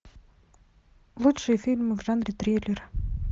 лучшие фильмы в жанре триллер